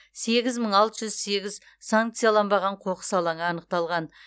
сегіз мың алты жүз сегіз санкцияланбаған қоқыс алаңы анықталған